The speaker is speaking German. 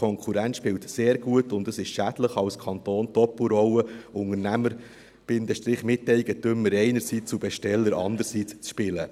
Die Konkurrenz spielt sehr gut und es ist schädlich, als Kanton die Doppelrolle Unternehmer-Miteigentümer einerseits und Besteller andererseits zu spielen.